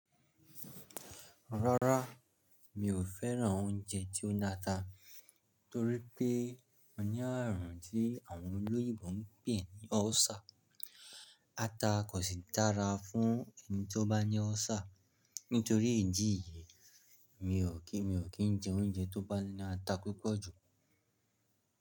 Rárá, mi ò fẹ́ràn oúnjẹ tí ó ní ata, torí pé mo ní àrùn tí àwọn olóyìnbó ń pè ní ulcer. Ata kò sì dára fún ẹni tí ó bá ní ulcer. Nítorí ìdí yìí, mi ò kí, mi ò kín jẹ oúnjẹ tó bá ní ata púpọ̀ jù.